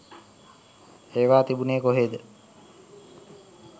ඒවා තිබුනේ කොහෙද?